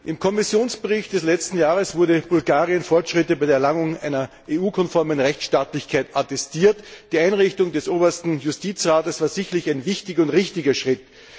Im Kommissionsbericht des letzten Jahres wurden Bulgarien Fortschritte bei der Erlangung einer EU konformen Rechtsstaatlichkeit attestiert. Die Einrichtung des Obersten Justizrates war sicherlich ein wichtiger und richtiger Schritt.